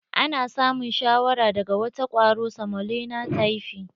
Ana samun shawara daga wata kwaro samolena tyfi.